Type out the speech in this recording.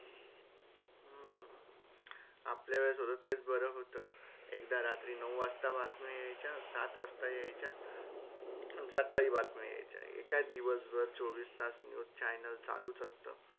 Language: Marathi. आपल्या वेळेस होतं तेच बरं होतं एकदा रात्री नऊ वाजतां बातम्या यायच्या सात वाजता यायच्या अ सकाळी बातम्या यायच्या हे काय दिवस भर चोवीस तास news channel चालूच असतं.